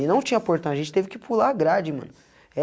E não tinha portão, a gente teve que pular grade, mano. Eh